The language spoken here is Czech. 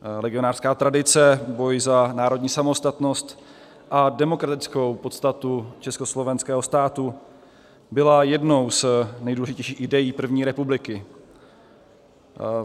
Legionářská tradice, boj za národní samostatnost a demokratickou podstatu československého státu, byla jednou z nejdůležitějších idejí první republiky.